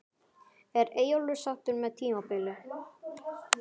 Er Eyjólfur sáttur með tímabilið?